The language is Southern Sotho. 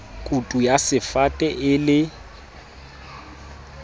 kutu ya sefate e le